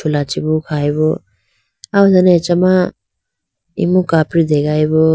Khula chibi khayibo aw done achama imu kapri degayibo.